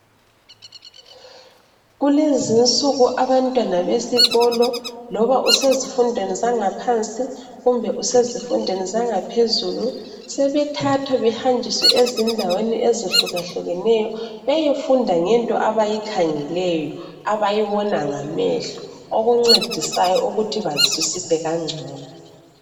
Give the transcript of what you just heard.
Kulezi insuku abantwana besikolo loba osezidweni zaphansi kumbe usezidweni zaphezulu., sebethathwa behanjwise ezindaweni ezihlukahlukeneyo beyefunda ngento abayikhangeleyo abayibona ngamehlo, okuncedisayo ukuthi bazwisise kangcono